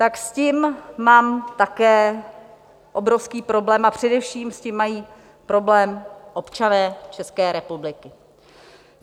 Tak s tím mám také obrovský problém a především s tím mají problém občané České republiky.